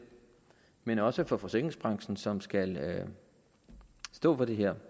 men også fra forsikringsbranchen som skal stå for det her